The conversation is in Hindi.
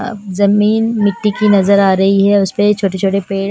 अ जमीन मिट्टी की नजर आ रही है उस पे ये छोटे छोटे पेड़--